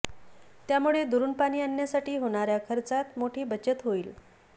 त्यामुळे दुरुन पाणी आणण्यासाठी होणाऱया खर्चात मोठी बचत होईल